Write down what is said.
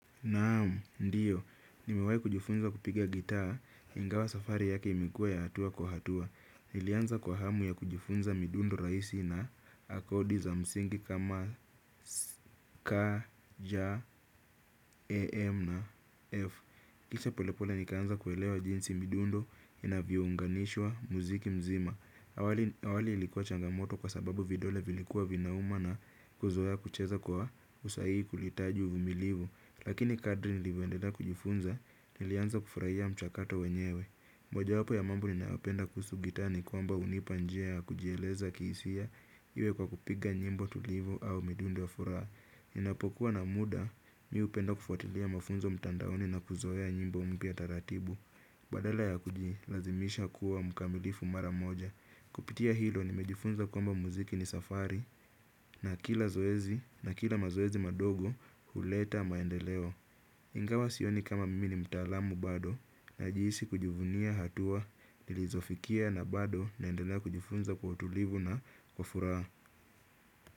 Naam, ndiyo. Nimewai kujufunza kupiga gitaa hingawa safari yake imikuwa ya hatua kwa hatua. Nilianza kwa hamu ya kujufunza midundo raisi na akodi za msingi kama K, J, A, M na F. Kisha polepole nikaanza kuelewa jinsi midundo inavyo unganishwa muziki mzima. Awali ilikuwa changamoto kwa sababu vidole vilikuwa vinauma na kuzoea kucheza kwa usaii kulitaji umilivu. Lakini kadri nilivyoendelea kujufunza nilianza kufurahia mchakato wenyewe. Moja wapo ya mambo ninayopenda kuhusu gitaa ni kwamba unipanjia ya kujieleza kisia iwe kwa kupiga nyimbo tulivu au midundo ya furaa. Ninapokuwa na muda miupenda kufuatilia mafunzo mtandaoni na kuzoea nyimbo mpya taratibu. Badala ya kujilazimisha kuwa mkamilifu mara moja. Kupitia hilo nimejifunza kwamba muziki ni safari na kila zoezi na kila mazoezi madogo huleta maendeleo. Ingawa sioni kama mimi ni mtalamu bado na jiisi kujivunia hatua nilizofikia na bado naendelea kujifunza kwa utulivu na kwa furaa.